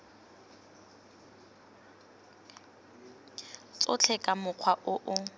tsotlhe ka mokgwa o o